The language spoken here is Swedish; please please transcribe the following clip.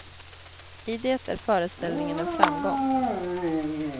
I det är föreställningen en framgång.